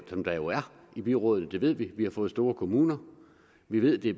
som der jo er i byrådene det ved vi vi har fået store kommuner vi ved det